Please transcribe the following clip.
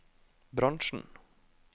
bransjen